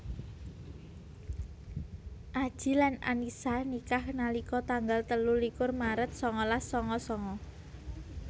Adji lan Annisa nikah nalika tanggal telu likur maret sangalas sanga sanga